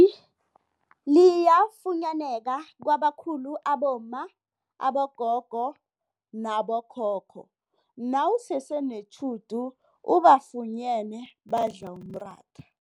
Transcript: i liyafunyaneka kwabakhulu abomma, abogogo nabo khokho nawusese netjhudu ubafunyene badla umratha.